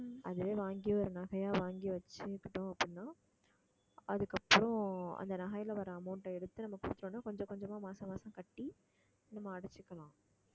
அதுவே வாங்கி ஒரு நகையா வாங்கி வச்சுகிட்டோம் அப்படின்னா அதுக்கு அப்புறம் அந்த நகையில வர amount அ எடுத்து நம்ம கொஞ்சம் கொஞ்சமா மாசம் மாசம் கட்டி நம்ம அடைச்சுக்கலாம்